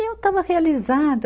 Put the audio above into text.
E eu estava realizada.